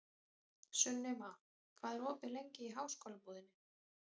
Sunniva, hvað er opið lengi í Háskólabúðinni?